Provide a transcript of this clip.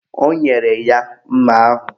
O nyere ya mma ahụ.